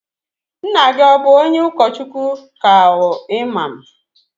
Nna gi o bu onye okochukwu ka imam?